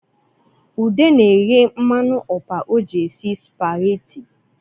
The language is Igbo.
Ude na-ehe mmanụ ọpa o ji esi spaghetti